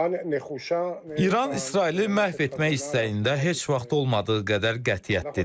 İran İsraili məhv etmək istəyində heç vaxt olmadığı qədər qətiyyətlidir.